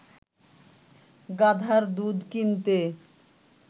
গাধার দুধ কিনতে